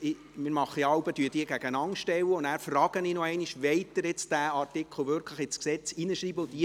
Nach der Gegenüberstellung frage ich jeweils noch, ob der betreffende Artikel wirklich ins Gesetz geschrieben werden soll.